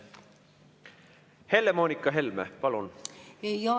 Helle-Moonika Helme, palun!